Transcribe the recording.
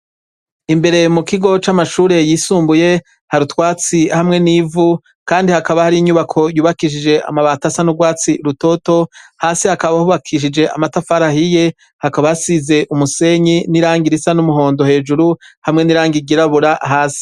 Imbere mu kigo c'amashure yisumbuye hari utwatsi hamwe n'ivu kandi bakaba hari inyubako yubakishije amabati asa n'urwatsi rutoto hasi hakaba hubakishije amatafari ahiye hakaba hasize umusenyi n'irangi risa n'umuhondo hejuru hamwe n'irangi ryirabura hasi.